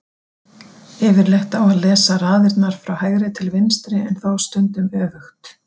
Yfirleitt á að lesa raðirnar frá hægri til vinstri en þó stundum öfugt.